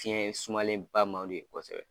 Fiyɛn sumalen ba man di o ye kosɛbɛ.